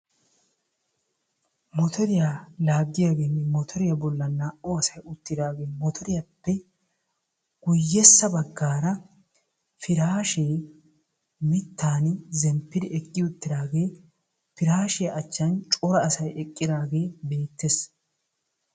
Motoriya laaggiyageenne motoriya bollan naa"u asay uttidaagee motoriyappe guyyessa baggaara piraashee mittan zemppidi eqqi uttidaagee piraashiya achchan cora asay eqqidaagee beettees.